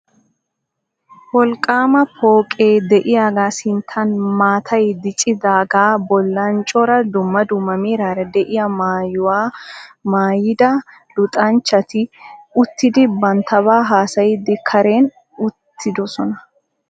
Wolqqaama pooqee de'iyagaa sinttan maatay diccidaagaa bollan cora dumma dumma meraara de'iya maayuwa maayida luxanchchati uttidi banttabaa haasayiiddi karen uttidosona.